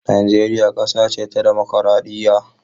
Najeriya kasa ce ta dimokraɗiyya.